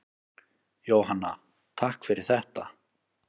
Jóhanna: Takk fyrir þetta.